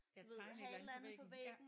Ja tegne et eller andet på væggen ja